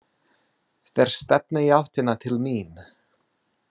Þeir stefna í áttina til mín.